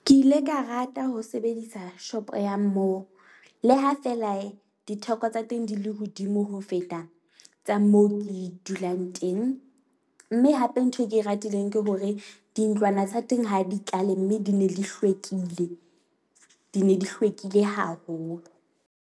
Ke ile ka rata ho sebedisa shopo ya moo le ha feela ditheko tsa teng di le hodimo ho feta tsa moo ke dulang teng. Mme hape ntho e ke e ratileng ke hore dintlwana tsa teng ha di tlale, mme di ne di hlwekile, di ne di hlwekile haholo.